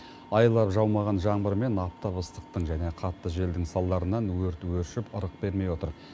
айлап жаумаған жаңбыр мен аптап ыстықтың және қатты желдің салдарынан өрт өршіп ырық бермей отыр